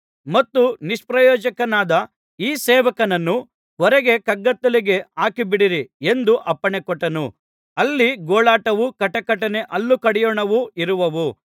ಮತ್ತು ನಿಷ್ಪ್ರಯೋಜಕನಾದ ಈ ಸೇವಕನನ್ನು ಹೊರಗೆ ಕಗ್ಗತ್ತಲೆಗೆ ಹಾಕಿಬಿಡಿರಿ ಎಂದು ಅಪ್ಪಣೆಕೊಟ್ಟನು ಅಲ್ಲಿ ಗೋಳಾಟವೂ ಕಟಕಟನೆ ಹಲ್ಲುಕಡಿಯೋಣವೂ ಇರುವವು